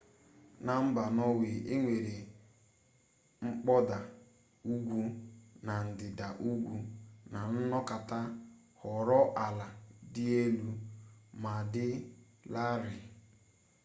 na mba nọọwe enwere mkpọda ugwu na ndịda ugwu na anọkata ghọrọ ala dị elu ma dị larịị